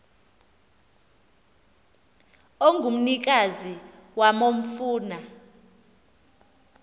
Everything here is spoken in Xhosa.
ongumnikazi wam ofuna